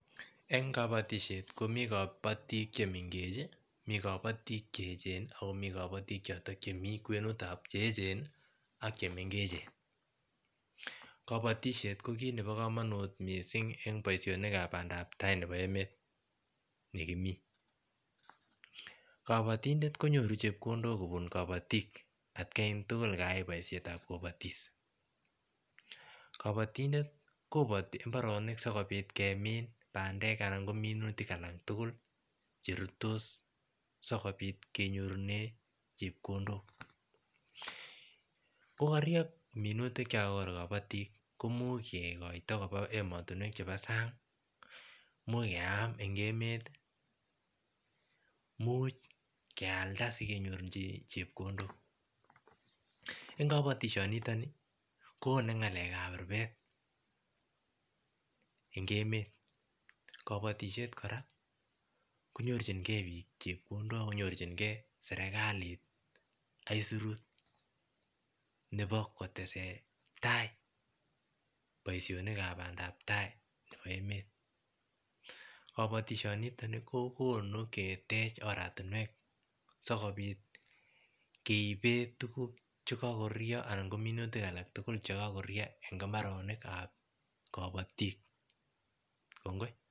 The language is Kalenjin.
En kabotishet komi kobotik chemengech mi kobotik cheecheni Ako kabotik chotok Chemi kwenutab kabotik cheecheni ak chemengechen kabotishet kokit nepokomonut mising en boishonikab bandaptai nebo emet nekimi kabotindet konyoru chepkondok kobun kabotik atkan tugul kayai boishetab kobotis kabotindet koboti mbaronik sikopit kemin bandek anan ko minutik alak tugul cherututos sikopit kenyorunen chepkondok kokorurio minutik chon kobut kobotik komuch kikoito koba emontinwek chepo sang imuch keam en emet imuch kealda sikenyorunen chepkondok en kabotishonitok koone ngalekap rubet en emet kabotishet kora konyorchikee biik chepkondok ak konyorchikee serkalit aisurut nebo koteseta boishonikab bandaptai nebo emet bo kabotishonitok kokonu ketech oratinwek sikopit keiben tuguk che kokorurio anan ko minutik alak tugul en mbaronikab kabotik kongoi